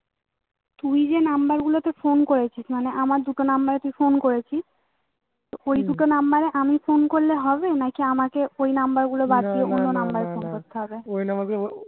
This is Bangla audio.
তুই যেই number গুলোতে phone করেছিস মানে আমার দুটো number এ তুই phone করেছিস তো ওই দুটো number এ আমি phone করলে হবে নাকি আমাকে ওই number গুলো বাদ দিয়ে অন্য number এ phone করতে হবে